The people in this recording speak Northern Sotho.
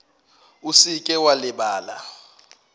o se ke wa lebala